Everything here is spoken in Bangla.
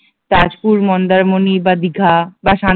তাজপুর মন্দারমনি বা দীঘা বা